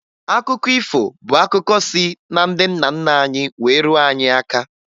Akụkọ ifo bụ akụkọ si na ndị nna nna anyị wee ruo anyị aka